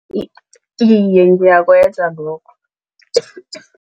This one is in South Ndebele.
Iye, ngiyakwenza lokho